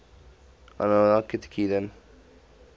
annandale